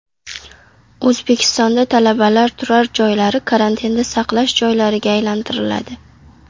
O‘zbekistonda talabalar turar joylari karantinda saqlash joylariga aylantiriladi.